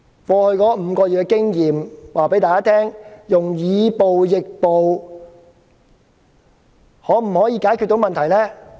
過去5個月的經驗告訴我們，以暴易暴可否解決問題呢？